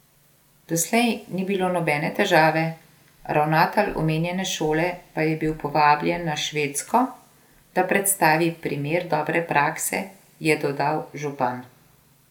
Doslej ni bilo nobene težave, ravnatelj omenjene šole pa je bil povabljen na Švedsko, da predstavi primer dobre prakse, je dodal župan.